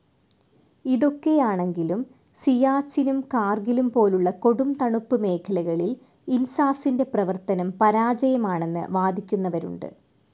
ഇതൊക്കെയാണെങ്കിലും സിയാചിനും കാർഗിലും പോലുള്ള കൊടുംതണുപ്പ് മേഖലകളിൽ ഇൻസാസിന്റെ പ്രവർത്തനം പരാജയമാണെന്ന് വാദിക്കുന്നവരുണ്ട്.